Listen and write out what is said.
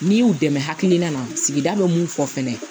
N'i y'u dɛmɛ hakilina na sigida bɛ mun fɔ fɛnɛ